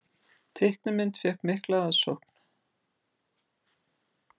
Teiknimynd fékk mikla aðsókn